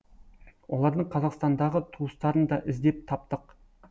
олардың қазақстандағы туыстарын да іздеп таптық